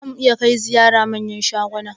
Za mu iya kai ziyara manyan shaguna?